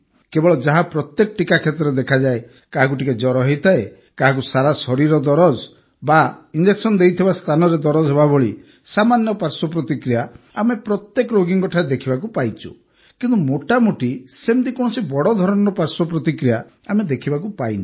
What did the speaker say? କେବଳ ଯାହା ପ୍ରତ୍ୟେକ ଟିକା କ୍ଷେତ୍ରରେ ଦେଖାଯାଏ କାହାକୁ ଟିକିଏ ଜ୍ୱର ହୋଇଥାଏ କାହାକୁ ସାରା ଶରୀର ଦରଜ ବା କାହାକୁ ଇଂଜେକ୍ସନ ଦିଆଯାଇଥିବା ସ୍ଥାନରେ ଦରଜ ହେବାଭଳି ସାମାନ୍ୟ ପାଶ୍ୱର୍ ପ୍ରତିକ୍ରିୟା ଆମେ ପ୍ରତ୍ୟେକ ରୋଗୀଙ୍କଠାରେ ଦେଖିବାକୁ ପାଇଛୁ କିନ୍ତୁ ମୋଟାମୋଟି ସେମିତି କୌଣସି ବଡ଼ ଧରଣର ପାର୍ଶ୍ବ ପ୍ରତିକ୍ରିୟା ଆମେ ଦେଖିବାକୁ ପାଇନୁ